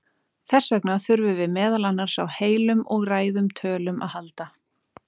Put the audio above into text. Þess vegna þurfum við meðal annars á heilum og ræðum tölum að halda.